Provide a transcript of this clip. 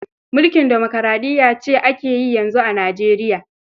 Mulkin demokaraɗiyya ce ake yi yanzu a Nijeriya.